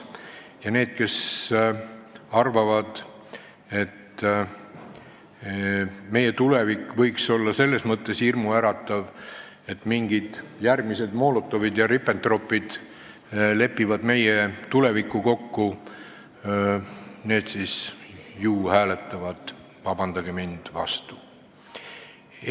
Ja need, kes arvavad, et tulevik võiks olla selles mõttes hirmuäratav, et järgmised Molotovid ja Ribbentropid lepivad meie tulevikus kokku, hääletavad, vabandust, ju vastu.